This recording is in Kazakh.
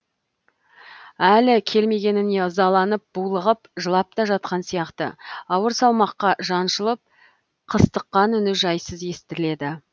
әлі келмегеніне ызаланып булығып жылап та жатқан сияқты ауыр салмаққа жаншылып қыстыққан үні жайсыз естіледі